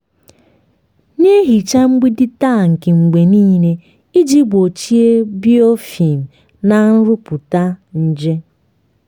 na-ehicha mgbidi tankị mgbe niile iji gbochie biofilm na nrụpụta nje.